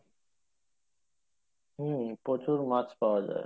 হ্যাঁ প্রচুর মাছ পাওয়া যাই।